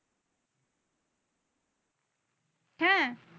হ্যাঁ।